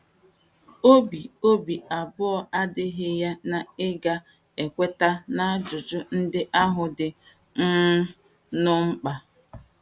Obi Obi abụọ adịghị ya na ị ga - ekweta na ajụjụ ndị ahụ dị um nnọọ mkpa.